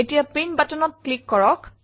এতিয়া প্ৰিণ্ট buttonত ক্লিক কৰক